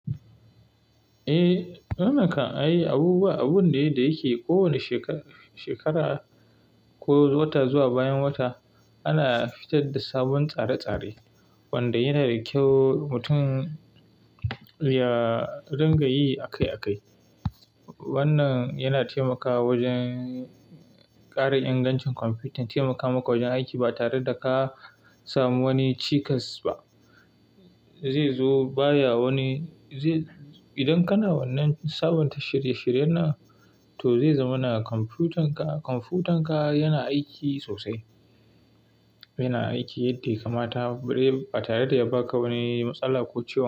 Eh, wannan kan ai abubuwa, abun ne da yake kowane shekara ko wata zuwa bayan wata ana fitar da sabon tsare-tsare wanda yana da kyau mutum ya ringa yi akai-akai. Wannan yana taimakawa wajen ƙara ingancin kwamfutan, taimakawa wajen aiki ba tare da ka samu wani cikas ba. Zai zo baya wani, idan kana wannan sabon ta shirye-shirye nan, to zai zama na kwamfutanka, kwamfutanka yana aiki sosai. Yana aiki yadda ya kamata ba tare da ya baka wani matsala ko ciwon.